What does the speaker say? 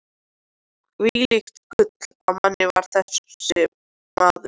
Hvílíkt gull af manni var þessi maður!